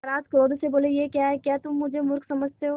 महाराज क्रोध से बोले यह क्या है क्या तुम मुझे मुर्ख समझते हो